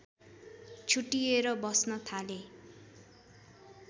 छुट्टिएर बस्न थाले